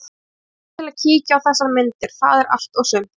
Ég kom til að kíkja á þessar myndir, það er allt og sumt.